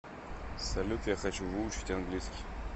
салют я хочу выучить английский